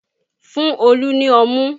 Fún Olu ni ọmú